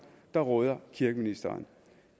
der råder kirkeministeren